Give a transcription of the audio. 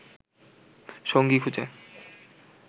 সঙ্গী খুঁজে